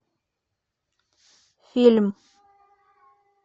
фильм